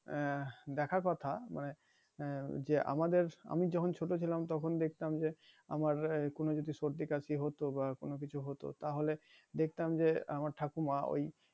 আহ দেখা কথা মানে হ্যাঁ যে আমাদের আমি যখন ছোট ছিলাম তখন দেখতাম যে আমার কোন যদি সর্দি কাশি হতো বা কোন কিছু হতো তাহলে দেখতাম যে আমার ঠাকুর মা ওই